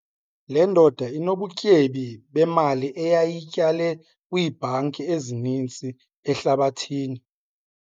Le ndoda inobutyebi bemali eyayiyityale kwiibhanki ezininzi ehlabathini.